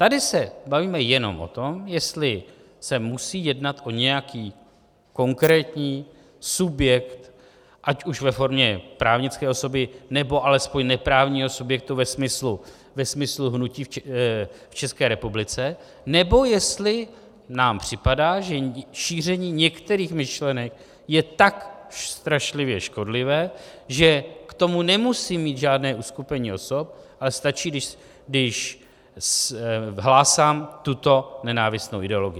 Tady se bavíme jenom o tom, jestli se musí jednat o nějaký konkrétní subjekt, ať už ve formě právnické osoby, nebo alespoň neprávního subjektu ve smyslu hnutí v České republice, nebo jestli nám připadá, že šíření některých myšlenek je tak strašlivě škodlivé, že k tomu nemusím mít žádné uskupení osob, ale stačí, když hlásám tuto nenávistnou ideologii.